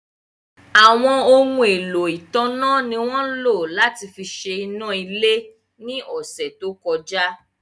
Àwọn ohun èlò ìtanná ni wọ́n lò láti fi ṣe iná ilé ní ọ̀sẹ̀ tó kọjá.